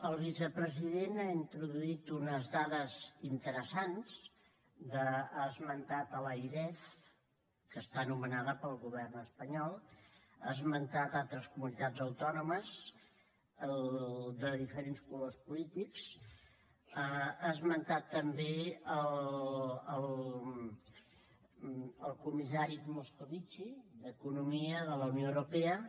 el vicepresident ha introduït unes dades interessants ha esmentat l’airef que està nomenada pel govern espanyol ha esmentat altres comunitats autònomes de diferents colors polítics ha esmentat també el comissari moscovici d’economia de la unió europea